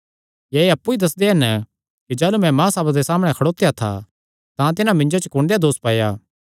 या एह़ अप्पु ई दस्सन कि जाह़लू मैं महासभा दे सामणै खड़ोत्या था तां तिन्हां मिन्जो च कुण देहया दोस पाया